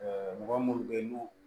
mɔgɔ minnu bɛ yen n'u